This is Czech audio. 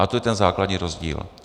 A to je ten základní rozdíl.